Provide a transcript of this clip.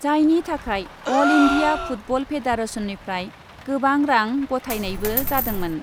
जायनि थाखाय all India football फेडारेसननिफ्राय गोबां रां गथायनायबो जादोंमोन ।